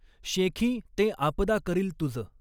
शॆखीं तॆं आपदा करील तुज.